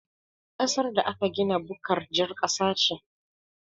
Ƙasar da aka gina bukkar jar ƙasa ce